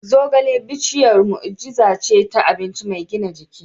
Zogale bishiyar mu'ujiza ce ta abinci mai gina jiki.